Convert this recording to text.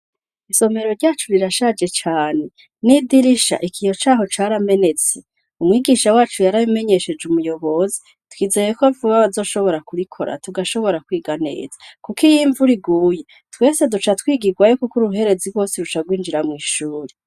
Isomero ryacu rirashaje cane n'idirisha ikiyo caho caramenetse umwigisha wacu yaramenyesheje umuyobozi twizeyeko vuba bazoshobora kurikora tugashobora kwiganeza, kuko iyimvu riguye twese duca twigirwayo, kuko uruherezi rwose ruca rwinjira mw'ishuri.